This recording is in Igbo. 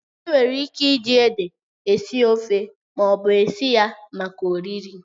Enwere ike iji ede esi ofe ma ọ bụ isi ya maka oriri.